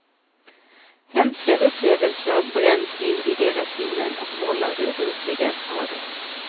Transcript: Hemska upplevelser bränns in i deras sinnen och vållar obotliga skador.